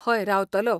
हय, रावतलो.